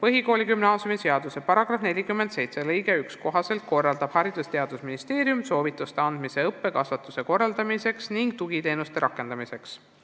" Põhikooli- ja gümnaasiumiseaduse § 47 lõike 1 kohaselt korraldab Haridus- ja Teadusministeerium soovituste andmise õppe ja kasvatuse korraldamiseks ning tugiteenuste rakendamiseks.